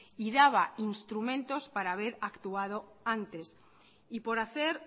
y daba instrumentos para haber actuado antes y por hacer